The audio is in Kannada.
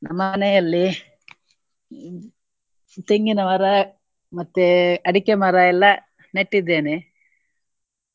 ನಮ್ಮ ಮನೆಯಲ್ಲಿ ತೆಂಗಿನ ಮರ ಮತ್ತೆ ಅಡಿಕೆ ಮರ ಎಲ್ಲ ನೆಟ್ಟಿದ್ದೇನೆ.